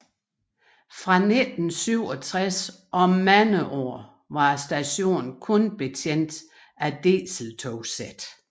Fra 1967 og mange år var stationen kun betjent af dieseltogsæt